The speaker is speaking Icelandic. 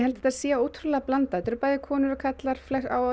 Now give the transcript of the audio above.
þetta sé ótrúlega blandað þetta eru bæði konur og karlar á